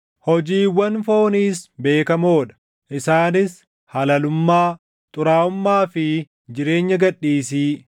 Hojiiwwan fooniis beekamoo dha; isaanis halalummaa, xuraaʼummaa fi jireenya gad dhiisii,